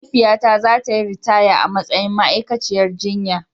Mahaifiyata za ta yi ritaya a matsayin ma'aikaciyar jinya.